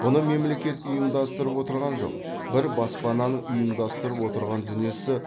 бұны мемлекет ұйымдастырып отырған жоқ бір баспананың ұйымдастырып отырған дүниесі